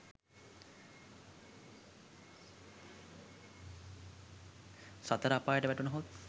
සතර අපායට වැටුණහොත්